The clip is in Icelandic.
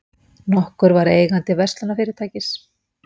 nokkur var eigandi verslunarfyrirtækis.